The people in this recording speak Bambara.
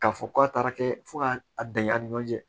K'a fɔ k'a taara kɛ fo k'a bɛn a ni ɲɔgɔn cɛ